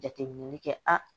Jateminɛli kɛ a